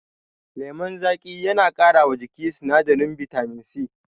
Lemon zaƙi yana ƙara wa jiki sinadarin bitamin C